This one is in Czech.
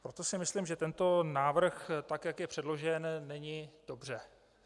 Proto si myslím, že tento návrh, tak jak je předložen, není dobře.